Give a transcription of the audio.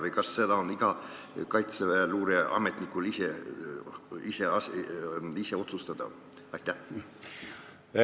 Või kas seda saab iga Kaitseväe luureametnik ise otsustada?